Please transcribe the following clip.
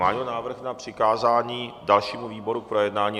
Má někdo návrh na přikázání dalšímu výboru k projednání?